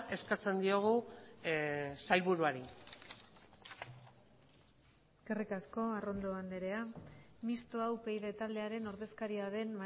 eskatzen diogu sailburuari eskerrik asko arrondo andrea mistoa upyd taldearen ordezkaria den